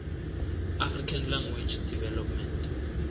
african language development